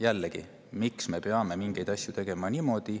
Jällegi, miks me peame tegema asju niimoodi.